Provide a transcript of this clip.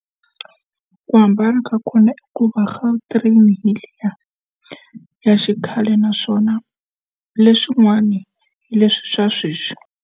Ku hambana ka kona i ku va gautrain hi liya ya xikhale naswona leswin'wana hi leswi swa sweswi.